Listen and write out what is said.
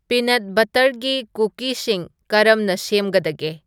peanut ꯕꯠꯇꯔꯒꯤ ꯀꯨꯀꯤꯁꯤꯡ ꯀꯔꯝꯅ ꯁꯦꯝꯒꯗꯒꯦ